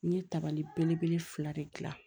N ye tabali belebele fila de gilan